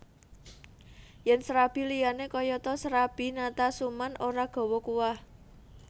Yen srabi liyane kayata srabi Natasuman ora gawa kuah